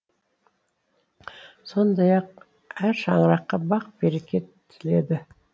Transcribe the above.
сондай ақ әр шаңыраққа бақ береке тіледі